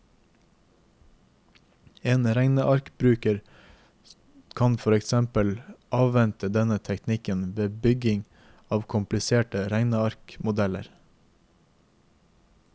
En regnearkbruker kan for eksempel anvende denne teknikken ved bygging av kompliserte regnearkmodeller.